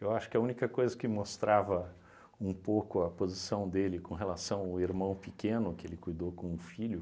Eu acho que a única coisa que mostrava um pouco a posição dele com relação ao irmão pequeno que ele cuidou como filho,